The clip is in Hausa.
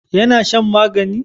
ya na shan magani?